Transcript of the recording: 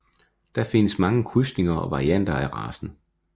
Der findes mange krydsninger og varianter af racen